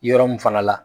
Yɔrɔ min fana la